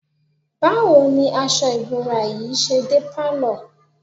Báwo ni aṣọ ìbora yìí ṣe dé pálọ̀?